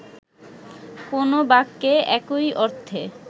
কো্নো বাক্যে একই অর্থে